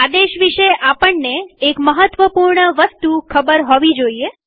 આદેશ વિષે આપણને એક મહત્વપૂર્ણ વસ્તુ ખબર હોવી જરૂરી છે